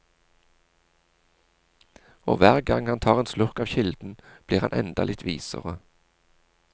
Og hver gang han tar en slurk av kilden, blir han enda litt visere.